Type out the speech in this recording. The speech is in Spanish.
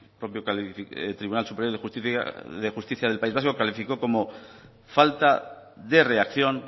falta de reacción